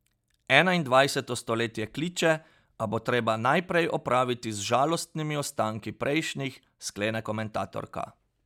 Enaindvajseto stoletje kliče, a bo treba najprej opraviti z žalostnimi ostanki prejšnjih, sklene komentatorka.